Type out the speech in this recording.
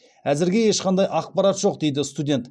әзірге ешқандай ақпарат жоқ дейді студент